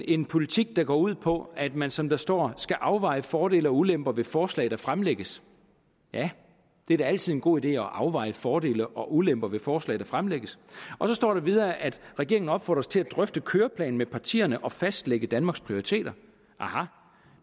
en politik der går ud på at man som der står i skal afveje fordele og ulemper ved forslag der fremlægges ja det er da altid en god idé at afveje fordele og ulemper ved forslag der fremlægges og så står der videre at regeringen opfordres til at drøfte køreplanen med partierne og fastlægge danmarks prioriteter aha